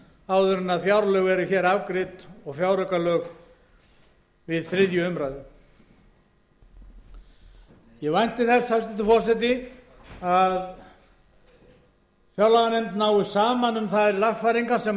áður en fjárlög eru hér afgreidd og fjáraukalög við þriðju umræðu ég vænti þess hæstvirtur forseti að fjárlaganefnd nái saman um þær lagfæringar sem ég